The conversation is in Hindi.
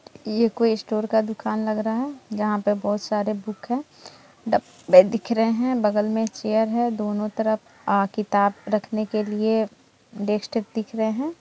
ये कोई स्टोर का दुकान लग रहा है जहां पे बहुत सारे बुक हैं ड-ब्बे दिख रहे हैं बगल मे चेयर है दोनो तरफ आ किताब रखने के लिए डेस्टिक दिख रहे हैं।